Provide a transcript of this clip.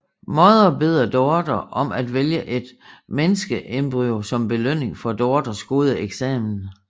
Mother beder daughter om at vælge et menneskeembryo som belønning for daughters gode eksamen